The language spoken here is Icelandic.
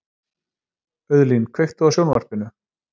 Auðlín, kveiktu á sjónvarpinu.